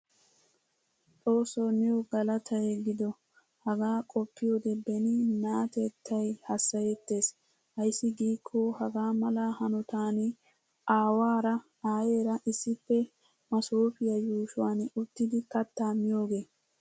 Xoosso niyo galattay gido. Hagaa qopiyode beni naatettay hasayetees. Ayssi giko hagaamala hanottan aawaara aayeraa issippe masofiya yushuwan uttidi kattaa miyoge.